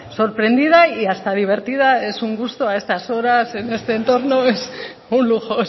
sorprendida y hasta divertida es un gusto a estas horas en este entorno es un lujo